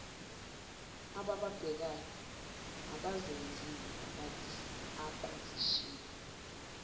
abababhekayo abazenzile abazishilo